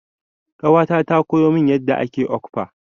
Ƙawata ta koya min yadda ake okpa.